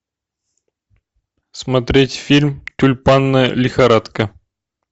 смотреть фильм тюльпанная лихорадка